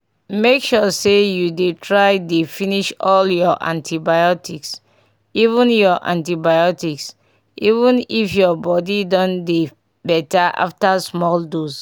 make sure say you dey try dey finish all your antibiotics even your antibiotics even if your body don dey better after small doses.